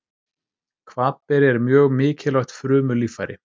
Hvatberi er mjög mikilvægt frumulíffæri.